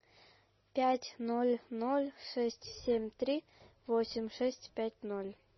пять ноль ноль шесть семь три восемь шесть пять ноль